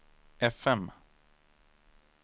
fm